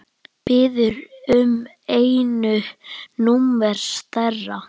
Biður um einu númeri stærra.